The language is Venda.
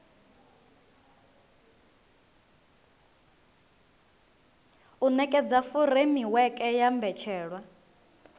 u nekedza furemiweke ya mbetshelwa